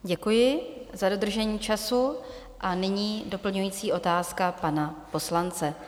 Děkuji za dodržení času a nyní doplňující otázka pana poslance.